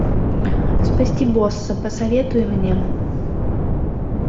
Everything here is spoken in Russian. спасти босса посоветуй мне